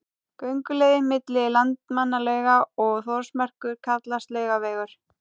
Gönguleiðin milli Landmannalauga og Þórsmerkur kallast Laugavegur.